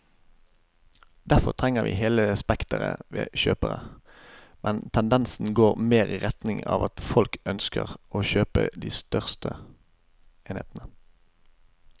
Derfor trenger vi hele spekteret av kjøpere, men tendensen går mer i retning av at folk ønsker å kjøpe de største enhetene.